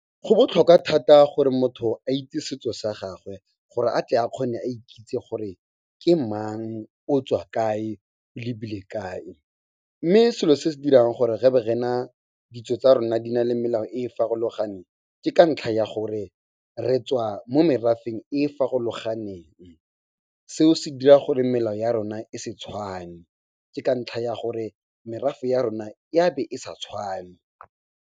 Go botlhokwa thata gore motho a itse setso sa gagwe, gore a tle a kgone a ikitse gore ke mang, o tswa kae, o lebile kae. Mme selo se se dirang gore re be rena ditso tsa rona di na le melao e farologaneng, ke ka ntlha ya gore re tswa mo merafeng e e farologaneng. Seo se dira gore melao ya rona e se tshwane, ka ntlha ya gore merafe ya rona e a be e sa tshwane.